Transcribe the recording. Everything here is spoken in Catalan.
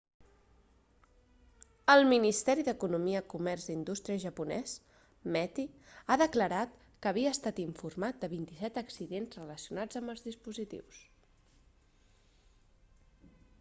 el ministeri d'economia comerç i indústria japonès meti ha declarat que havia estat informat de 27 accidents relacionats amb els dispositius